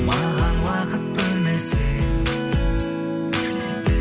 маған уақыт бөлмесең